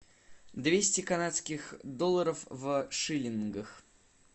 двести канадских долларов в шиллингах